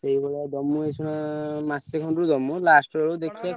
ସେଇଭଳିଆ ଦମୁ ଏଇ ମାସେ ଖଣ୍ଡେ ଦମୁ last ବେଳୁ ଦେଖିଆ ।